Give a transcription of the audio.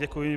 Děkuji.